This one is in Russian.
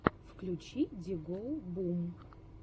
включи ди гоу бум